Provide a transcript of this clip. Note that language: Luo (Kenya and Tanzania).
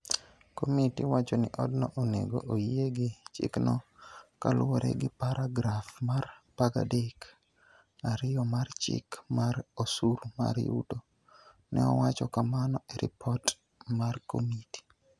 Komiti wacho ni odno onego oyie gi chikno kaluwore gi paragraf mar 13 (2) mar Chik mar Osuru mar Yuto, ne owacho kamano e ripot mar komiti.